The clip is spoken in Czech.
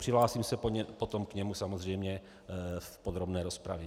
Přihlásím se potom k němu samozřejmě v podrobné rozpravě.